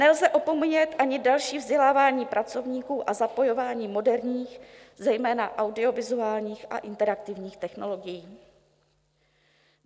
Nelze opomíjet ani další vzdělávání pracovníků a zapojování moderních zejména audiovizuálních a interaktivních technologií.